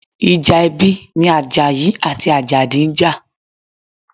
Ìjà ẹbí ni Àjàyí àti Àjàdí ń jà.